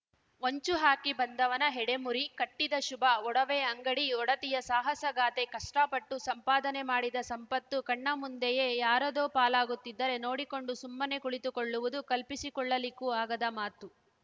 ಹೊಂಚು ಹಾಕಿ ಬಂದವನ ಹೆಡೆಮುರಿ ಕಟ್ಟಿದ ಶುಭ ಒಡವೆ ಅಂಗಡಿ ಒಡತಿಯ ಸಾಹಸಗಾಥೆ ಕಷ್ಟಪಟ್ಟು ಸಂಪಾದನೆ ಮಾಡಿದ ಸಂಪತ್ತು ಕಣ್ಣ ಮುಂದೆಯೇ ಯಾರದೋ ಪಾಲಾಗುತ್ತಿದ್ದರೆ ನೋಡಿಕೊಂಡು ಸುಮ್ಮನೆ ಕುಳಿತುಕೊಳ್ಳುವುದು ಕಲ್ಪಿಸಿಕೊಳ್ಳಲಿಕ್ಕೂ ಆಗದ ಮಾತು